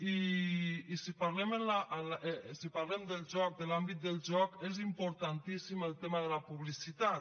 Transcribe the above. i si parlem del joc de l’àmbit del joc és importantíssim el tema de la publicitat